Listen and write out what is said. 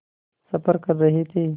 सफ़र कर रहे थे